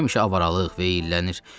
həmişə avaralıq veyillənir.